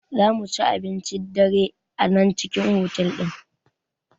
Zamuci abincin dare a nan cikin otal ɗin